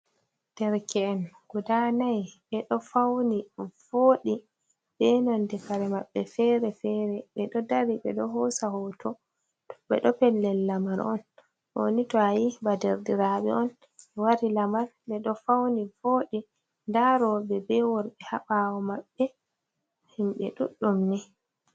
Dirke’en guda nayi ɓedo fauni voɗi ɓe nonde kare maɓɓe fere-fere, ɓe ɗo dari ɓe ɗo hosa hoto, ɓeɗo pellel lamal on, ɗo ni to'ayi badardiraɓe on, ɓe wari lamar ɓe ɗo fauni voɗi, nda roɓe be worɓe haɓawo maɓɓe himɓe ɗuɗɗum ni.